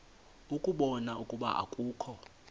ukubona ukuba akukho